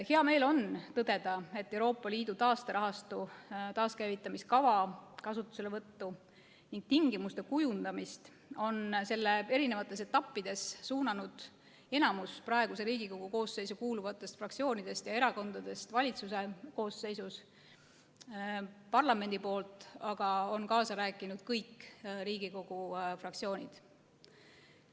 Hea meel on tõdeda, et Euroopa Liidu taasterahastu, taaskäivitamiskava kasutuselevõttu ning tingimuste kujundamist on selle eri etappides suunanud enamik praeguse Riigikogu koosseisu kuuluvatest fraktsioonidest ja erakondadest valitsuse koosseisus, parlamendis on kaasa rääkinud kõik Riigikogu fraktsioonid.